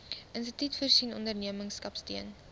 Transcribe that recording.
instituut voorsien ondernemerskapsteun